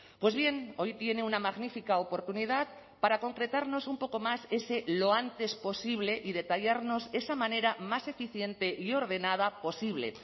pues bien hoy tiene una magnífica oportunidad para concretarnos un poco más ese lo antes posible y detallarnos esa manera más eficiente y ordenada posible